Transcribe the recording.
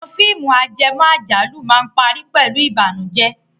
Àwọn fíìmù ajẹmọ́ àjálù máa ń parí pẹ̀lú ìbànújẹ́.